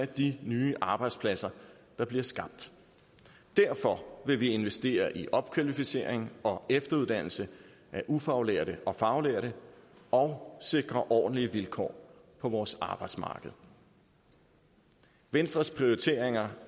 de nye arbejdspladser der bliver skabt derfor vil vi investere i opkvalificering og efteruddannelse af ufaglærte og faglærte og sikre ordentlige vilkår på vores arbejdsmarked venstres prioriteringer